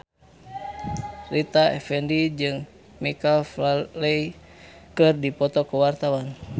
Rita Effendy jeung Michael Flatley keur dipoto ku wartawan